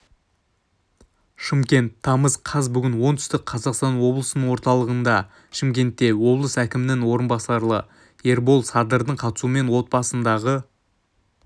шымкент тамыз қаз бүгін оңтүстік қазақстан облысының орталығы шымкентте облыс әкімінің орынбасары ербол садырдың қатысуымен отбасындағы